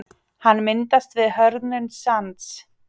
hann myndast við hörðnun sands